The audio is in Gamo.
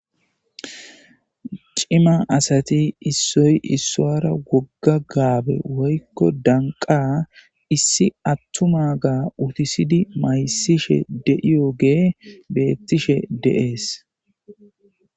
Cima asati issoy issoara wogga gaabe woykko danqa issi attuma gaa utisidi maysishe deiyogee beettishe deees